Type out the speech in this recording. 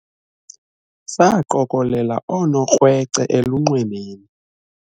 saqokelela oonokrwece elunxwemeni